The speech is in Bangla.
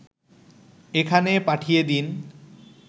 এখানে পাঠিয়ে দিন